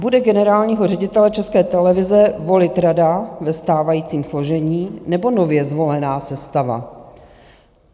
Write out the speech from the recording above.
Bude generálního ředitele České televize volit rada ve stávajícím složení, nebo nově zvolená sestava?